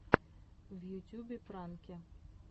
в ютюбе пранки